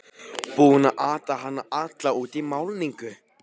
Búinn að ata hana alla út í málningu!